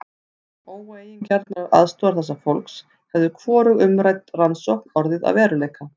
Án óeigingjarnrar aðstoðar þessa fólks hefði hvorug umrædd rannsókn orðið að veruleika.